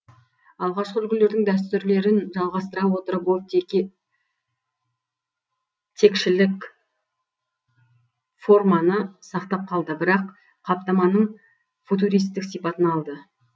алғашқы үлгілердің дәстүрлерін жалғастыра отырып ол текшелік форманы сақтап қалды бірақ қаптаманың футуристік сипатын алды